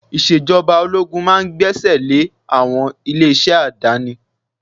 Ìṣèjọba ológun máa gbé ẹsẹ̀ àwọn ilé-iṣẹ́ àdáni